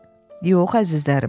Yox, əzizlərim.